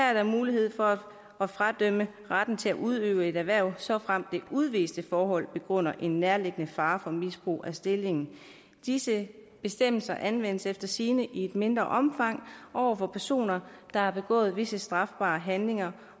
er der mulighed for at fradømme retten til at udøve et erhverv såfremt det udviste forhold begrunder en nærliggende fare for misbrug af stillingen disse bestemmelser anvendes efter sigende i mindre omfang over for personer der har begået visse strafbare handlinger